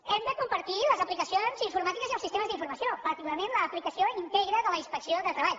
hem de compartir les aplicacions informàtiques i els sistemes d’informació particularment l’aplicació integra de la inspecció de treball